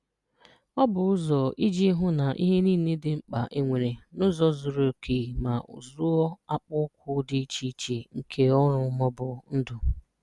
Ọ bụ ụzọ iji hụ na ihe niile dị mkpa e nwere n'ụzọ zuru oke ma zụọ akpụkụ dị iche iche nke ọrụ ma ọ bụ ndụ.